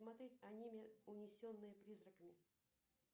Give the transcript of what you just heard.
смотреть аниме унесенные призраками